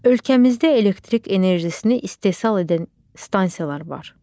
Ölkəmizdə elektrik enerjisini istehsal edən stansiyalar var.